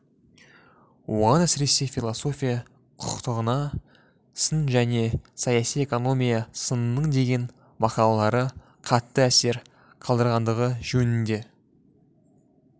оған әсіресе философия құқықтығына сын және саяси экономия сынының деген мақалалары қатты әсер қалдырғандығы жөнінде